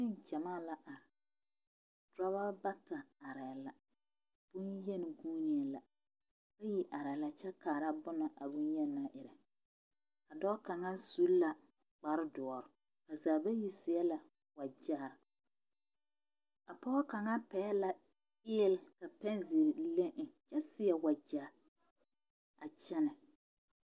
Nengyamaa la are dɔba bata arɛɛ la bonyeni vuunee la bayi arɛɛ la kyɛ kaara bone na a bonyeni naŋ erɛ a dɔɔ kaŋa su la kparedɔre ba zaa bayi seɛ la wagyɛre a pɔge kaŋa pɛgle la eele ka pɛnzeere le eŋ a seɛ wagyɛ a kyɛnɛ.